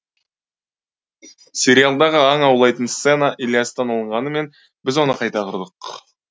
сериалдағы аң аулайтын сцена ілиястан алынғанымен біз оны қайта құрдық